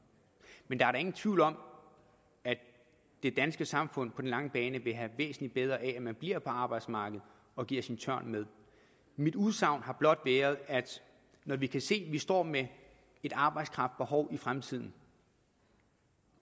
men der er da ingen tvivl om at det danske samfund på den lange bane vil have væsentligt bedre af at man bliver på arbejdsmarkedet og giver en tørn med mit udsagn har blot været at når vi kan se at vi står med et arbejdskraftbehov i fremtiden